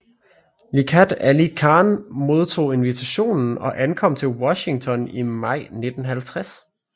Liaquat Ali Khan modtog invitationen og ankom til Washington i maj 1950